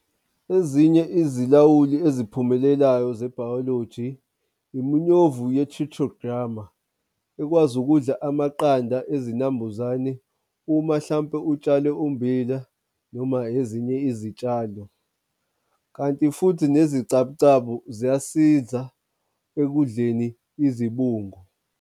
Ezinye izilawuli eziphumelelayo ze-biology, iminyovu ye-tutogramer, ekwazi ukudla amaqanda ezinambuzane uma hlampe utshale umbila noma ezinye izitshalo. Kanti futhi nezicabucabu ziyasiza ekudleni izibungu.